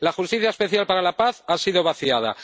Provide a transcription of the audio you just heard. La Justicia Especial para la Paz ha sido vaciada.